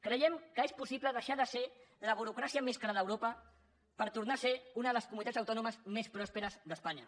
creiem que és possible deixar de ser la burocràcia més cara d’europa per tornar a ser una de les comunitats autònomes més pròsperes d’espanya